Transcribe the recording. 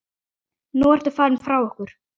Nú ertu farinn frá okkur.